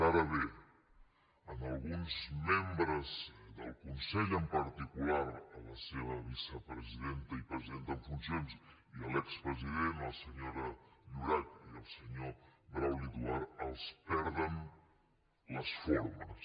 ara bé a alguns membres del consell en particular a la seva vicepresidenta i presidenta en funcions i a l’expresident la senyora llorach i el senyor brauli duart els perden les formes